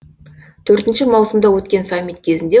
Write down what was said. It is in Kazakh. төртінші маусымда өткен саммит кезінде